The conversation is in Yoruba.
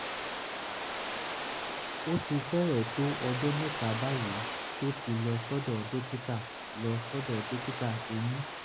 ó ti fẹ́rẹ̀ẹ́ tó ọjọ́ mẹ́ta báyìí tó ti lọ sọ́dọ̀ dókítà lọ sọ́dọ̀ dókítà eyín